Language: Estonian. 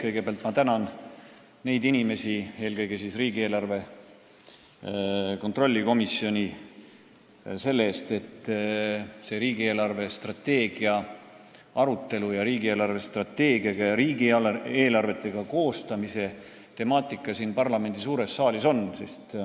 Kõigepealt ma tänan asjaosalisi, eelkõige riigieelarve kontrolli komisjoni, selle eest, et riigi eelarvestrateegia arutelu ning riigi eelarvestrateegia ja riigieelarvete koostamise temaatika siin parlamendi suures saalis on.